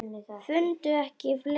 Fundum ekki fleiri orð.